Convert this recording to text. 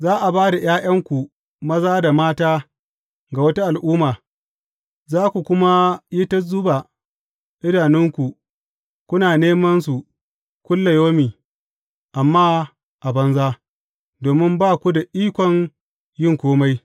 Za a ba da ’ya’yanku maza da mata ga wata al’umma, za ku kuma yi ta zuba idanunku kuna neman su kullayaumi, amma a banza, domin ba ku da ikon yin kome.